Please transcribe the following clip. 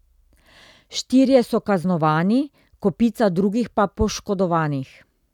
Štirje so kaznovani, kopica drugih pa poškodovanih.